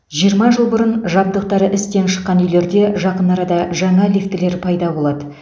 жиырма жыл бұрын жабдықтары істен шыққан үйлерде жақын арада жаңа лифтілер пайда болады